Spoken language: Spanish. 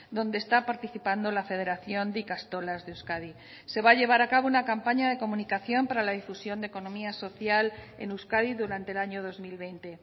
donde está participando la federación de ikastolas de euskadi se va a llevar a cabo una campaña de comunicación para la difusión de economía social en euskadi durante el año dos mil veinte